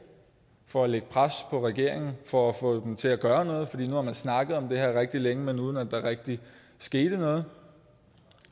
for at lægge pres på regeringen for at få dem til at gøre noget nu har man snakket om det her rigtig længe men uden at der rigtig er sket noget